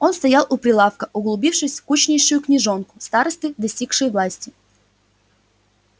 он стоял у прилавка углубившись в скучнейшую книжонку старосты достигшие власти